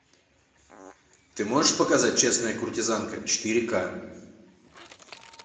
ты можешь показать честная куртизанка четыре ка